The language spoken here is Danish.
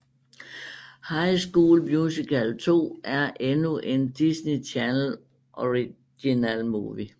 High School Musical 2 er endnu en Disney Channel Original Movie